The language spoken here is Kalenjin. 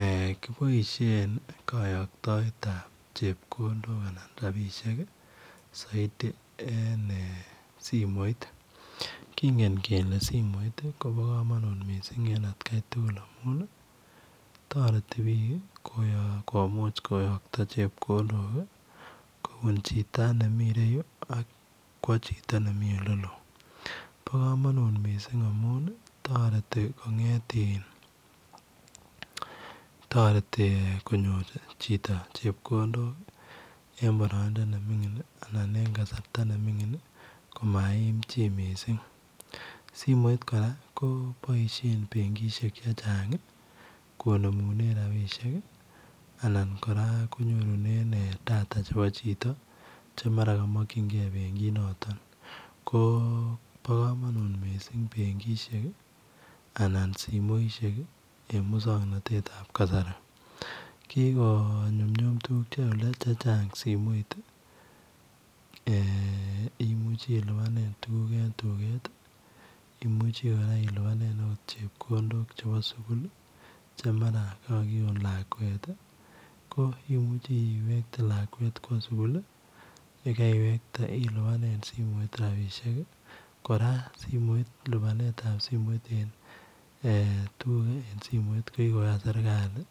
Eeh kiboisien kayaktoet zaidi en eeh simoit kingeen kele simoit kobaa kamanuut en at Kai tuguul amuun ii taretii biik komuuch koyaktaa chepkondook kobuun chitoo nemii ireyuu ak kowa chitoo ole Mii ole loo bo kamanut amuun taretii konyoor chitoo chepkondook en baraindaa ne mingiin anan en kasarta ne mingiin simoit kora ko boisien benkishek che chaang anan kobemunenen [data ] chebo chitoo che mara kamakyingei benkkit notoon bo kamanut benkishek anan simoisiek en musangnatet ab kasari kikonyunyum tuguuk che chaang simoit ii eeh imuuchei ilupaan tuguuk en dukeet imuchei ilupanen chepkondook chebo sugul che mara kakitoon lakwet ii ko imuchei iwekte lakwet kowa sugul ii ye kaiwegte ilupanen simoit rapisheek ii kora lupaneet ab simoit eng tuguuk en simoit ko kikoyaan serikali ii.